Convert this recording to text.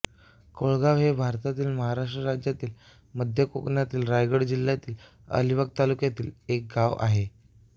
कोळगाव हे भारतातील महाराष्ट्र राज्यातील मध्य कोकणातील रायगड जिल्ह्यातील अलिबाग तालुक्यातील एक गाव आहे